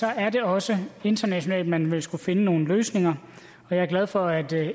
er det også internationalt man vil skulle finde nogle løsninger og jeg er glad for at